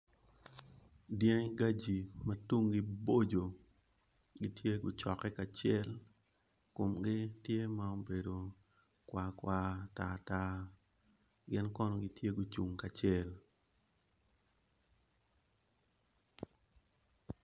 Dangi gaji ma tung boco gitye ma guckke kacel gitye ma obedo kwakwa tartar. Gin kono gitye ma gucung kacel